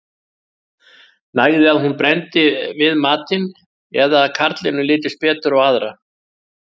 Nægði að hún brenndi við matinn eða að karlinum litist betur á aðra.